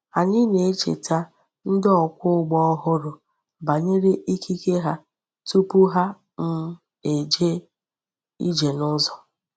Anyị na-echeta ndị ọkwọ ụgbọ ọhụrụ banyere ikike ha tupu ha um eje ije n’ụzọ.